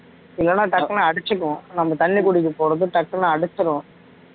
இல்லைன்னா டக்குன்னு அடிச்சிக்கும் நம்ம தண்ணி குடிக்க போறது டக்குன்னு அடச்சிரும்